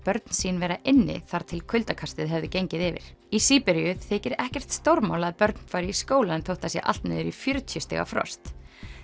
börn sín vera inni þar til kuldakastið hefði gengi yfir í Síberíu þykir ekkert stórmál að börn fari í skólann þótt það sé allt niður í fjörutíu stiga frost